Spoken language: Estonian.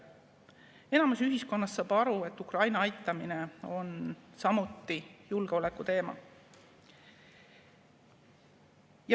Enamus ühiskonnast saab aru, et Ukraina aitamine on samuti julgeoleku teema.